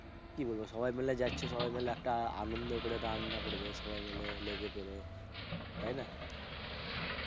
কি বলবো, সবাই মিলে যাচ্ছো সবাই মিলে আনন্দ করে রান্না করবে সবাই মিলে লেগে পেরে, তাইনা?